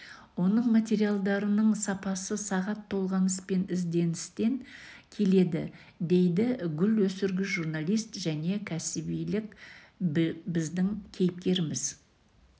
оның материалдарының сапасы сағат толғаныс пен ізденістен келеді дейді гүл өсіргіш журналист және кәсібилік бідің кейіпкеріміз